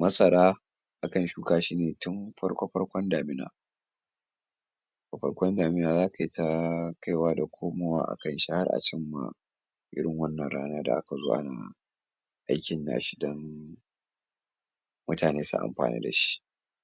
masara akan shuka shi ne tun farko-farkon damina a farkon damina za ta yi ta kaiwa da komowa a kan shi har an cimma irin wannan rana da aka zo ana aikin na shi dan mutane su amfana da shi.